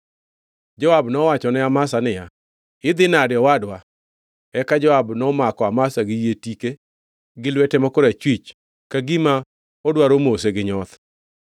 Joab nowachone Amasa niya, “Idhi nade owadwa?” Eka Joab nomako Amasa gi yie tike gi lwete ma korachwich ka gima odwaro mose gi nyoth.